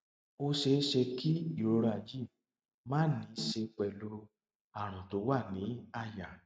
ó ṣeé ṣe kí ìrora yìí máà ní í ṣe pẹlú àrùn tó wà ní àyà